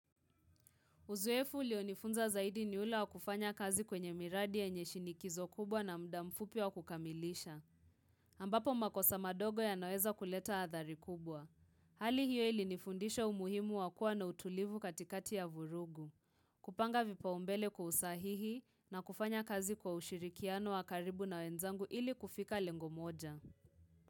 Uzoefu ulionifunza zaidi ni ule wa kufanya kazi kwenye miradi yenye shinikizo kubwa na mda mfupi wa kukamilisha. Ambapo makosa madogo yanaweza kuleta adhari kubwa. Hali hiyo ilinifundisha umuhimu wa kuwa na utulivu katikati ya vurugu. Kupanga vipao mbele kusahihi na kufanya kazi kwa ushirikiano wa karibu na wenzangu ili kufika lengo moja.